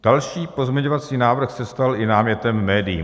Další pozměňovací návrh se stal i námětem médií.